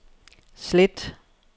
slet